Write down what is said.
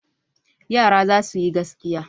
Yara za su yi gaskiya.